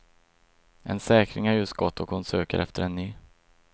En säkring har just gått och hon söker efter en ny.